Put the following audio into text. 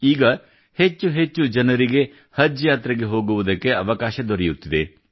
ಈಗ ಹೆಚ್ಚು ಹೆಚ್ಚು ಜನರಿಗೆ ಹಜ್ ಯಾತ್ರೆಗೆ ಹೋಗುವುದಕ್ಕೆ ಅವಕಾಶ ದೊರೆಯುತ್ತಿದೆ